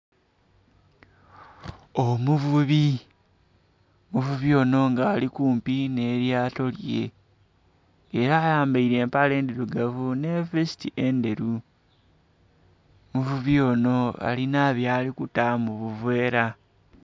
Omuvubi, omuvubi onho nga ali kumpi nh'elyato lye. Ela ayambaile empale ndhilugavu nhi vesiti endheru. Omuvubi onho alinha byali kuta mu buveera.